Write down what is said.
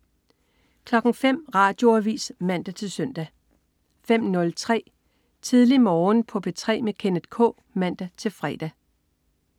05.00 Radioavis (man-søn) 05.03 Tidlig Morgen på P3 med Kenneth K (man-fre)